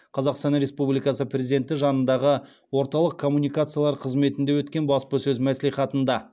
қазақстан республикасы президенті жанындағы орталық коммуникациялар қызметінде өткен баспасөз мәслихатында